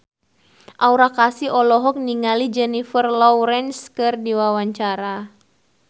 Aura Kasih olohok ningali Jennifer Lawrence keur diwawancara